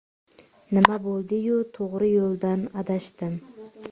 Nima bo‘ldi-yu, to‘g‘ri yo‘ldan adashdim!